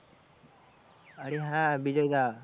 আরে হ্যাঁ বিজয় দা।